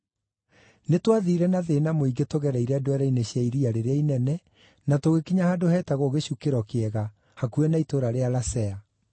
Nĩtwathiire na thĩĩna mũingĩ tũgereire ndwere-inĩ cia iria rĩrĩa inene na tũgĩkinya handũ heetagwo Gĩcukĩro Kĩega, hakuhĩ na itũũra rĩa Lasea.